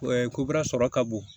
ko bɛrɛ sɔrɔ ka bon